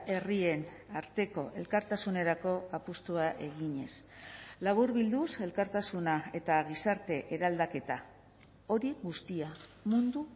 herrien arteko elkartasunerako apustua eginez laburbilduz elkartasuna eta gizarte eraldaketa hori guztia mundu